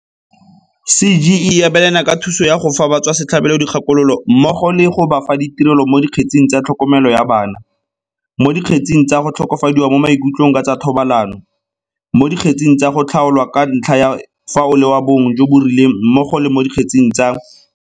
CGE e abelana ka thuso ya go fa batswasetlhabelo dikgakololo mmogo le go ba fa ditirelo mo dikgetseng tsa tlhokomelo ya bana, mo di kgetseng tsa go tlhokofadiwa mo maikutlong ka tsa thobalano, mo dikgetseng tsa go tlhaolwa ka ntlha ya fa o le wa bong jo bo rileng mmogo le mo dikgetseng tsa.